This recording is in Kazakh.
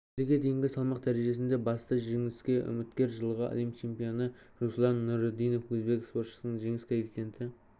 келіге дейінгі салмақ дәрежесінде басты жеңіске үміткер жылғы әлем чемпионы руслан нұрыдинов өзбек спортшысының жеңіс коэффициенті